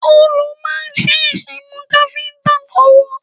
Òòlù máa ń ṣèṣì mú káfíntà lọ́wọ́.